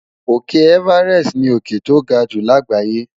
Òkè Everest ni òkè tó ga jù láàgbáyé.